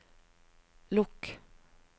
lukk